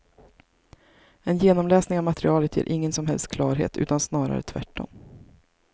En genomläsning av materialet ger ingen som helst klarhet, utan snarare tvärtom.